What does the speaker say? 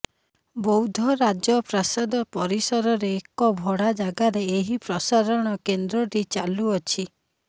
ବୌଦ୍ଧ ରାଜପ୍ରାସାଦ ପରିସରରେ ଏକ ଭଡା ଜାଗାରେ ଏହି ପ୍ରସାରଣ କେନ୍ଦ୍ରଟି ଚାଲୁଅଛି